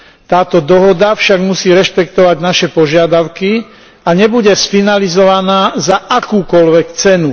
Táto dohoda však musí rešpektovať naše požiadavky a nebude sfinalizovaná za akúkoľvek cenu.